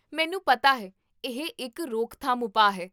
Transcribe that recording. ਮੈਨੂੰ ਪਤਾ ਹੈ, ਇਹ ਇੱਕ ਰੋਕਥਾਮ ਉਪਾਅ ਹੈ